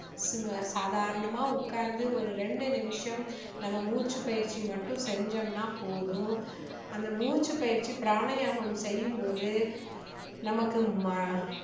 சும்~சாதாரணமா உடகாந்து ஒரு ரெண்டு நிமிஷம் ஒரு மூச்சு பயிற்சி மட்டும் செஞ்சோம்னா போதும் அந்த மூச்சு பயிற்சி பிராணயாமம் செய்யும் போது நமக்கு